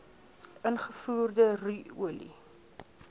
ingevoerde ru olie